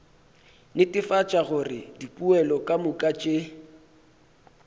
netefatša gore dipoelo kamoka tše